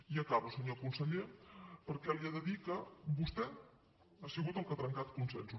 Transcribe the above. i acabo senyor conseller perquè li he de dir que vostè ha sigut el que ha trencat consensos